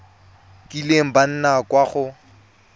kileng ba nna kwa go